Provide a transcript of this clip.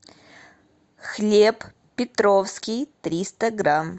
хлеб петровский триста грамм